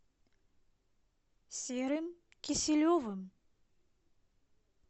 серым киселевым